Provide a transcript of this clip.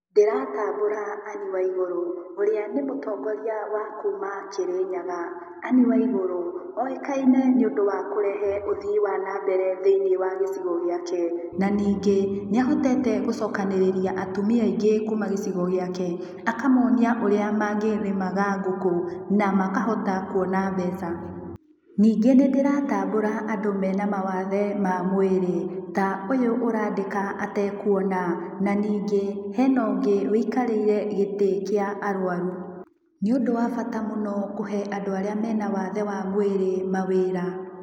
Ndĩratambũra anne waigũrũ, ũrĩa nĩ mũtongoria wa kuma Kirinyaga, Anne waiguru ũĩkaine nĩ ũndũ wa kũrehe ũthii wa na mbere thĩinĩ wa gĩcigo gĩake, na ningĩ, nĩ ahotete gũcokanĩrĩria atumia aingĩ kuma gĩcigo gĩake akamonia ũrĩa mangĩrĩmaga ngũkũ na makahota kuona mbeca. Ningĩ nĩndĩratambũra andũ mena mawathe ma mwĩrĩ, ta ũyũ arandĩka atekuona, na nyingĩ hena ũngĩ ũikarĩire gĩtĩ kĩa arwaru. Na ningĩ nĩ ũndũ wa bata mũno kũhe andũ arĩa me na wathe wa mwĩrĩ mawĩra.